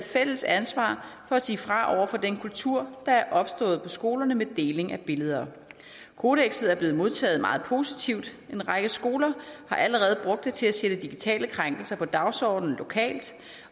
fælles ansvar for at sige fra over for den kultur der er opstået på skolerne med deling af billeder kodekset er blevet modtaget meget positivt og en række skoler har allerede brugt det til at sætte digitale krænkelser på dagsordenen lokalt